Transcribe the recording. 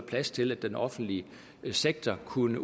plads til at den offentlige sektor kunne